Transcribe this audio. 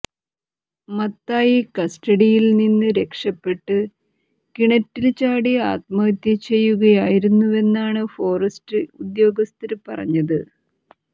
മത്തായി കസ്റ്റഡിയില് നിന്നും രക്ഷപ്പെട്ട് കിണറ്റില് ചാടി ആത്മഹത്യ ചെയ്യുകയായിരുന്നുവെന്നാണ് ഫോറസ്റ്റ് ഉദ്യോഗസ്ഥര് പറഞ്ഞത്